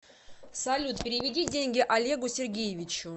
салют переведи деньги олегу сергеевичу